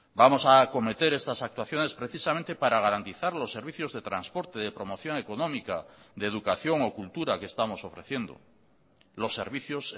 vamos a acometer estas actuaciones precisamente para garantizar los servicios de transporte de promoción económica de educación o cultura que estamos ofreciendo los servicios